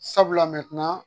Sabula